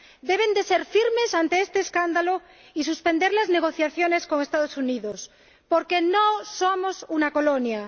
Deben ser firmes ante este escándalo y suspender las negociaciones con los Estados Unidos, porque no somos una colonia.